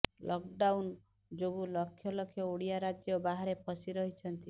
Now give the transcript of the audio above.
lockdown ଯୋଗୁଁ ଲକ୍ଷ ଲକ୍ଷ ଓଡ଼ିଆ ରାଜ୍ୟ ବାହାରେ ଫସି ରହିଛନ୍ତି